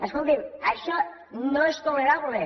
escolti’m això no és tolerable